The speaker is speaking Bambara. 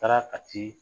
Taara kati